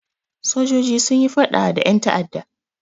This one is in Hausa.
Sojoji sun yi faɗa da ƴan ta'adda.